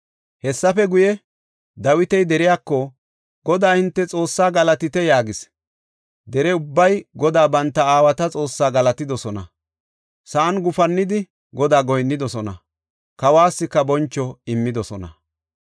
Hessafe guye, Dawiti deriyako, “Godaa hinte Xoossaa galatite” yaagis. Dere ubbay Godaa banta aawata Xoossaa galatidosona. Sa7an gufannidi Godaa goyinnidosona; kawuwasika boncho immidosona.